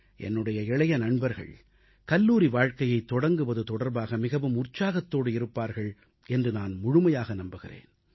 என்னுடைய இளைய நண்பர்கள் கல்லூரி வாழ்க்கையைத் தொடங்குவது தொடர்பாக மிகவும் உற்சாகத்தோடு இருப்பார்கள் என்று நான் முழுமையாக நம்புகிறேன்